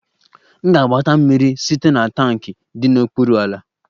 M ga-agbata mmiri site na tankị dị n'okpuru ala